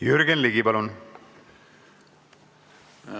Jürgen Ligi, palun!